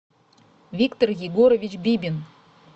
виктор егорович бибин